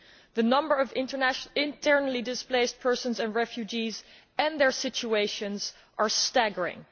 The numbers of internally displaced persons and refugees and their situations are staggering.